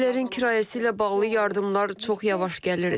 Evlərin kirayəsi ilə bağlı yardımlar çox yavaş gəlir.